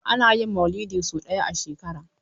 Ana yin Mauludi sau ɗaya a shekara.